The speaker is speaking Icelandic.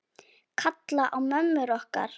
Kalla á mömmur okkar?